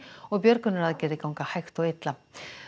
og björgunaraðgerðir ganga hægt og illa